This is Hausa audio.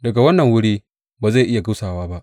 Daga wannan wuri ba zai iya gusawa ba.